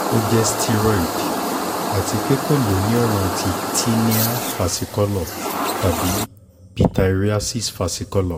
o jẹ steroid ati pe ko lo ni ọran ti tinea versicolor tabi pityriasis versicolor